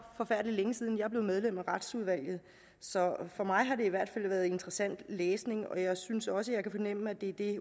forfærdelig længe siden jeg blev medlem af retsudvalget så for mig har det i hvert fald været interessant læsning og jeg synes også jeg kan fornemme at det er det